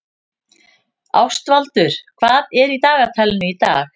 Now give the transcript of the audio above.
Ástvaldur, hvað er í dagatalinu í dag?